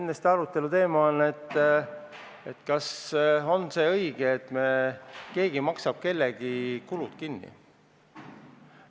Teine aruteluteema on, kas on see õige, et keegi maksab kellegi kulud kinni.